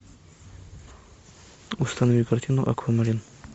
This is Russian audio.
установи картину аквамарин